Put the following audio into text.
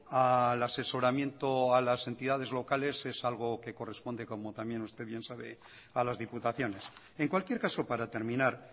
al asesoramiento a las entidades locales es algo que corresponde como también usted bien sabe a las diputaciones en cualquier caso para terminar